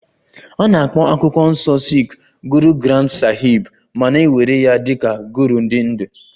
A na-akpọ akwụkwọ nsọ sikh Guru Granth sahib ma na-ewere ya dị ka Guru dị ndụ